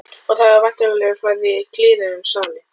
Og það hefur væntanlega farið kliður um salinn.